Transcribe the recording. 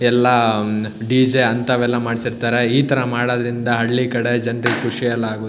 ಎಲ್ಲಾ ಡಿ.ಜೆ ಅಂತವೆಲ್ಲಾ ಮಾಡ್ಸಿರ್ತರೆ ಇತರ ಮಾಡೋದ್ರಿಂದ ಹಳ್ಳಿಕಡೆ ಜನ್ರಿಗೆ ಖುಷಿ ಎಲ್ಲಾ ಆಗುತ್ತೆ.